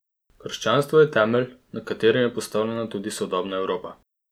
Krščanstvo je temelj, na katerem je postavljena tudi sodobna Evropa.